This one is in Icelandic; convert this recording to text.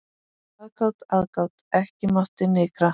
Aðgát, aðgát, ekki mátti nykra.